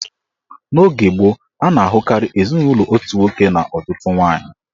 N'oge gboo, a na-ahụkarị ezinụlọ otu nwoke na ọtụtụ nwaanyị